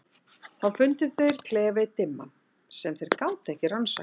Þá fundu þeir klefa einn dimman, sem þeir gátu ekki rannsakað.